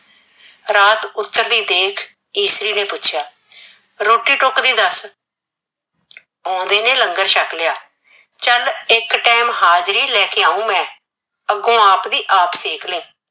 ਰਾਤ ਉਤਰਦੀ ਦੇਖ ਈਸਰੀ ਨੇ ਪੁੱਛਿਆ, ਰੋਟੀ ਟੁੱਕ ਦੀ ਦੱਸ। ਆਉਦੇ ਨੇ ਲੰਗਰ ਛੱਕ ਲਿਆ। ਚੱਲ ਇਕ time ਹਾਜਰੀ ਲੈ ਕੇ ਆਓ ਮੈਂ, ਅੱਗੋਂ ਆਪਦੀ ਆਪ ਸੇਕ ਲਈ ।